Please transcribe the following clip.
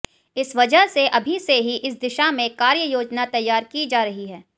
इस वजह से अभी से ही इस दिशा में कार्ययोजना तैयार की जा रही है